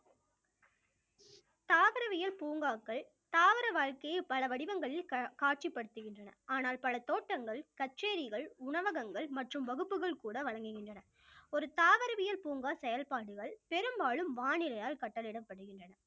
தாவரவியல் பூங்காக்கள் தாவர வாழ்க்கைய பல வடிவங்களில் கா~ காட்சிப்படுத்துகின்றன ஆனால் பல தோட்டங்கள் கச்சேரிகள், உணவகங்கள் மற்றும் வகுப்புகள் கூட வழங்குகின்றன ஒரு தாவரவியல் பூங்கா செயல்பாடுகள் பெரும்பாலும் வானிலையால் கட்டளையிடப்படுகின்றன